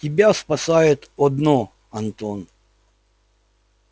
тебя спасает одно антон